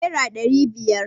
naira ɗari biyar